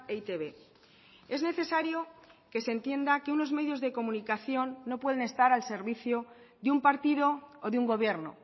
e i te be es necesario que se entienda que unos medios de comunicación no pueden estar al servicio de un partido o de un gobierno